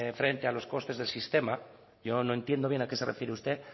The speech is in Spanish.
frente a los costes del sistema yo no entiendo bien a qué se refiere usted